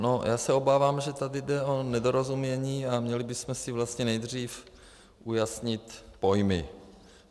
No, já se obávám, že tady jde o nedorozumění a měli bychom si vlastně nejdřív ujasnit pojmy.